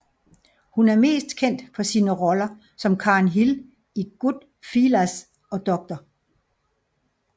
Hun er mest kendt for sine roller som Karen Hill i Goodfellas og Dr